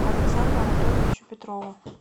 александру анатольевичу петрову